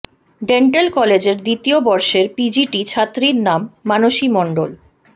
dental কলেজের দ্বিতীয় বর্ষের পিজিটি ছাত্রী নাম মানসী মণ্ডল